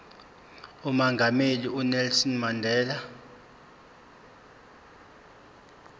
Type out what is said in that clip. umongameli unelson mandela